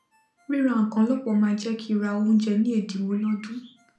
ríra nkan lópò máá jé kí ra óúnjé ní èdínwó lódún